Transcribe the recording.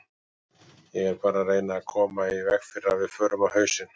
Ég er bara að reyna að koma í veg fyrir að við förum á hausinn.